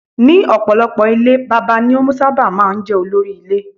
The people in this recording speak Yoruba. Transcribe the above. Nínú ọ̀pọ̀ ilé Bàbá ni ó sábà máa ń jẹ́ olórí ile.